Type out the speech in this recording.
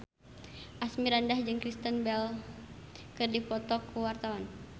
Asmirandah jeung Kristen Bell keur dipoto ku wartawan